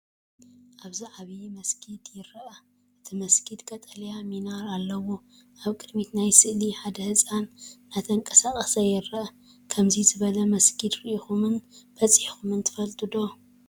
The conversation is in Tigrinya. ኣብዚ ዓብይ መስጊድን ይርአ። እቲ መስጊድ ቀጠልያ ሚናር ኣለዎ። ኣብ ቅድሚት ናይቲ ስእሊ፡ ሓደ ህጻን እናተንቀሳቐሰ ይርአ። ከምዚ ዝበለ መስጊድ ርኢኹምን በጺሕኩምን ትፈልጡ ዶ?